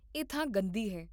ਇਹ ਥਾਂ ਗੰਦੀ ਹੈ